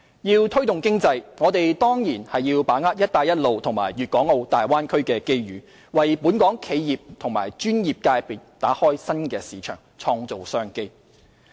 要推動經濟，我們當然要把握"一帶一路"和粵港澳大灣區的機遇，為本港企業及專業界別打開新市場，創造商機。